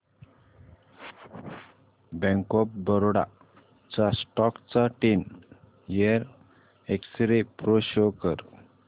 bank of Baroda च्या stock चा ten year x ray pro show कर